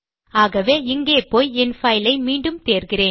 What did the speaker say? ஆகவே இங்கே போய் என் பைல் ஐ மீண்டும் தேர்கிறேன்